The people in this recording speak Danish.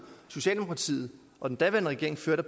socialdemokratiet og den daværende regering førte